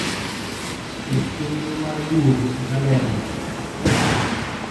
ket chenro mar duogo e kalenda